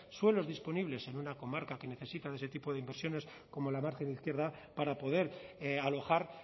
suelos disponibles en una comarca que necesita de ese tipo de inversiones como la margen izquierda para poder alojar